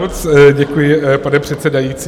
Moc děkuji, pane předsedající.